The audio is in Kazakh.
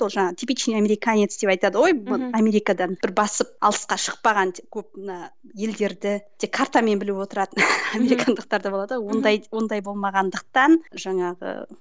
сол жаңа типичный американец деп айтады ғой америкадан бір басып алысқа шықпаған деп көп мына елдерді тек картамен біліп отыратын американдықтар да болады ғой ондай ондай болмағандықтан жаңағы